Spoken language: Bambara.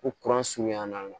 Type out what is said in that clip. Ko kuran surunyan na